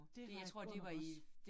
Det var jeg godt nok også